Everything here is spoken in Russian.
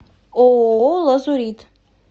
ооо лазурит